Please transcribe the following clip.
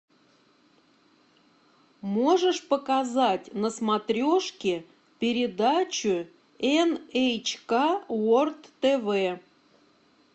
можешь показать на смотрешке передачу эн эйч ка ворлд тв